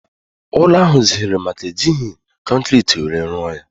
Ụlọ ahụ zèrè maka na ejighi kọnkiriti were rụọ ya